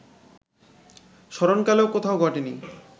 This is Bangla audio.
স্মরণকালেও কোথাও ঘটেনি